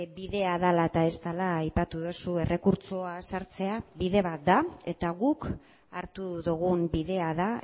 bidea dela eta ez dela aipatu duzu errekurtsoa sartzea bide bat da eta guk hartu dugun bidea da